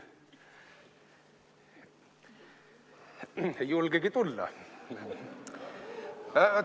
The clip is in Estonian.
Ei julgegi tulla?